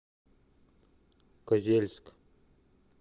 козельск